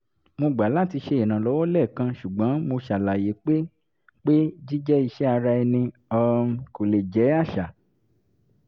mo gbà láti ṣe ìrànlọ́wọ́ lẹ́ẹ̀kan ṣùgbọ́n mo ṣàlàyé pé pé jíjẹ́ iṣẹ́ ara ẹni um kò lè jẹ́ àṣà